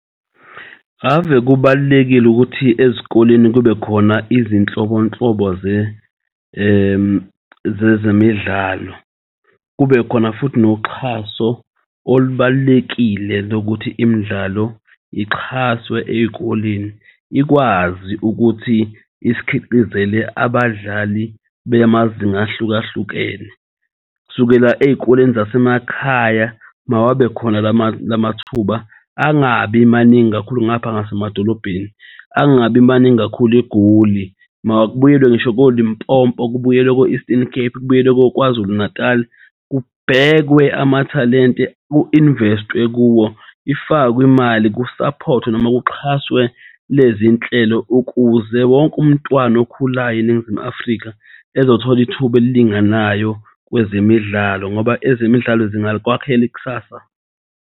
Ave kubalulekile ukuthi ezikoleni kubekhona izinhlobonhlobo zezemidlalo kubekhona futhi noxhaso olubalulekile lokuthi imidlalo ixhaswe ey'koleni ikwazi ukuthi is'khiqizele abadlali beya amazinga ahlukahlukene kusukela ey'koleni zasemakhaya mawabe khona lamathuba angabi maningi kakhulu ngapha ngase madolobheni, angabi maningi kakhulu eGoli, makubuyelwe ngisho ko-Limpopo kubuyelwe ko-Eastern Cape, kubuyelwe Kwazulu-Natali. Kubhekwe amathalente ku-invest kuwo ifakwe imali kusaphothwe nomak uxhaswe lezi nhlelo ukuze wonke umntwana okhulayo eNingizimu Afrika ezothola ithuba elilinganayo kwezemidlalo ngoba ezemidlalo zingakwakhel' ikusasa.